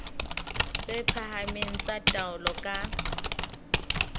tse phahameng tsa taolo ka